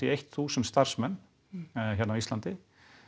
eitt þúsund starfsmenn hérna á Íslandi